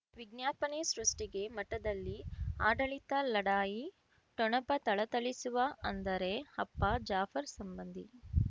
ವಿಜ್ಞಾಪನೆ ಸೃಷ್ಟಿಗೆ ಮಠದಲ್ಲಿ ಆಡಳಿತ ಲಢಾಯಿ ಠೊಣಪ ಥಳಥಳಿಸುವ ಅಂದರೆ ಅಪ್ಪ ಜಾಫರ್ ಸಂಬಂಧಿ